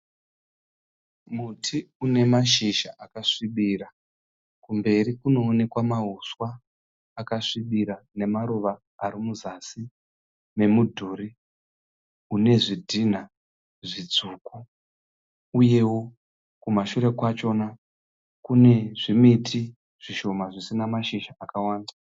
Muti unemashizha akasvibira kumberi kunoonekwa mahuswa akasvibira nemaruva arimuzasi memudhuri unezvidhinha zvitsvuku uyewo kumashure kwachona kune zvimiti zvisina mashizha akawanda.